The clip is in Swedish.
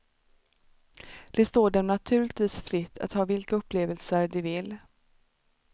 Det står dem naturligtvis fritt att ha vilka upplevelser de vill.